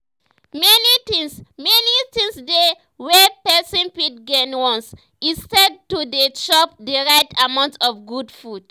many things many things dey wey person fit gain once e start to dey chop the right amount of good food